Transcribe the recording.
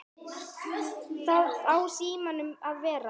Hvar á síminn að vera?